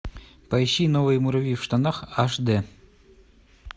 поищи новые муравьи в штанах аш д